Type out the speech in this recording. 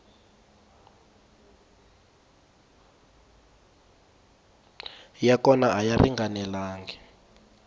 ya kona a ya ringanelangi